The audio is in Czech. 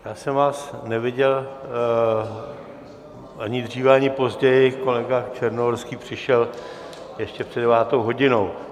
Já jsem vás neviděl ani dříve ani později, kolega Černohorský přišel ještě před devátou hodinou.